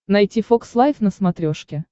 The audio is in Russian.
найти фокс лайф на смотрешке